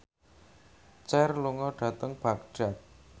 Cher lunga dhateng Baghdad